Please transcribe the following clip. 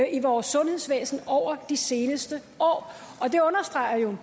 i vores sundhedsvæsen over de seneste år og det understreger jo at